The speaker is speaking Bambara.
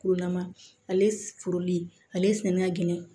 Kurulama ale foli ale sɛnɛn